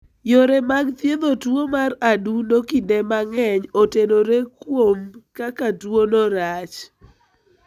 Yore mag thiedho tuwo mar adundo (COP) kinde mang'eny otenore kuom kaka tuwono rach.